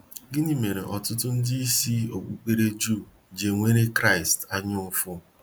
Gịnị mere ọtụtụ ndị isi okpukpere juu ji enwere Kraịst anya ụfụ